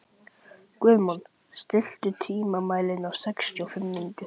Guðmon, stilltu tímamælinn á sextíu og fimm mínútur.